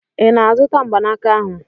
Ị na-azụta mgbanaka ahụ?